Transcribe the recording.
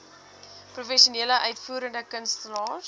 professionele uitvoerende kunstenaars